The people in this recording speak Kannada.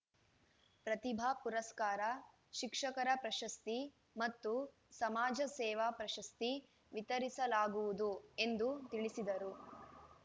ಪ್ರತಿಭಾ ಪುರಸ್ಕಾರ ಶಿಕ್ಷಕರ ಪ್ರಶಸ್ತಿ ಮತ್ತು ಸಮಾಜ ಸೇವಾ ಪ್ರಶಸ್ತಿ ವಿತರಿಸಲಾಗುವುದು ಎಂದು ತಿಳಿಸಿದರು